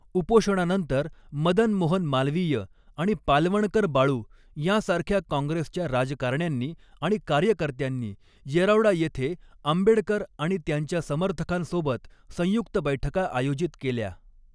उपोषणानंतर मदन मोहन मालवीय आणि पालवणकर बाळू यांसारख्या काँग्रेसच्या राजकारण्यांनी आणि कार्यकर्त्यांनी येरवडा येथे आंबेडकर आणि त्यांच्या समर्थकांसोबत संयुक्त बैठका आयोजित केल्या.